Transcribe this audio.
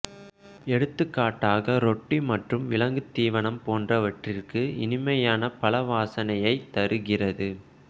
எடுத்துக்காட்டாக ரொட்டி மற்றும் விலங்குத் தீவனம் போன்றவற்றிற்கு இனிமையான பழ வாசனையைத் தருகிறது